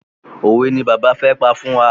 Òwe ni bàbá fẹ́ pa fún wa.